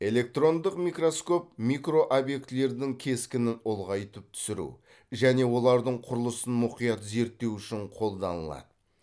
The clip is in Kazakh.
электрондық микроскоп микрообъектілердің кескінін ұлғайтып түсіру және олардың құрылысын мұқият зерттеу үшін қолданылады